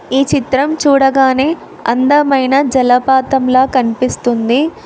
ఈ చిత్రం చూడగానే అందమైన జలపాతంలా కనిపిస్తుంది.